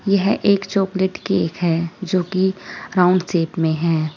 यह एक chocolate cake है जो की राउंड शेप में है।